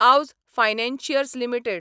Aavas financiers limited